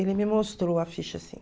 Ele me mostrou a ficha, sim.